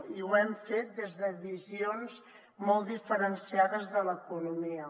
i ho hem fet des de visions molt diferenciades de l’economia